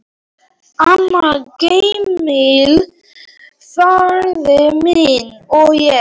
Amma, Gamli faðir minn, og ég.